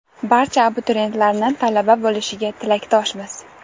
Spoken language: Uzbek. Barcha abituriyentlarni talaba bo‘lishiga tilakdoshmiz!